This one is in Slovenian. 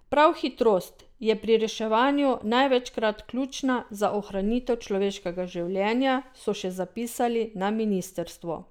Prav hitrost je pri reševanju največkrat ključna za ohranitev človeškega življenja, so še zapisali na ministrstvu.